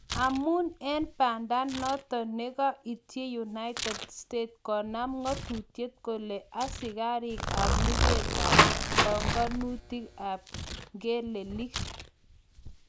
amun en pandaaton nega ichich United states konem ngatutyet kole asigariik ap lugetko panganutig ap Ngelelik